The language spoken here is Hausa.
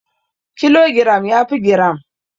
Kilogiram yafi giram.